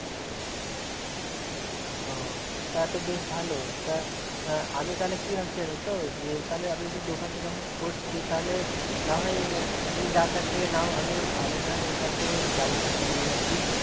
অ তাতো বেশ ভালো তা আহ আমি তালে কি ভাবছি জানো তো যে তালে আমি দোকানটা যখন করছি তালে নাহয় তুমি যার কাছ থেকে নাও আমিও আমি না হয় ওর কাছ থেকেই জামা কিনে নিয়ে আসি